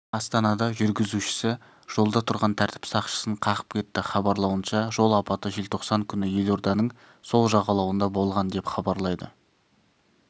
астанада жүргізушісі жолда тұрған тәртіп сақшысын қағып кетті хабарлауынша жол апаты желтоқсан күні елорданың сол жағалауында болған деп хабарлайды